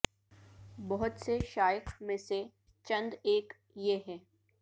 بہت سے شائخ میں سے چند ایک یہ ہیں